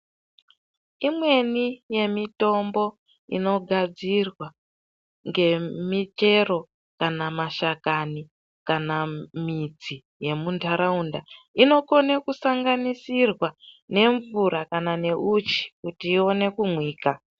Imweni yemitombo inogadzirwa ngemichero kana mashakani kana midzi yemundaraunda, inokone kusanganisirwa nemvura kana neuchi kuti ione kumwika.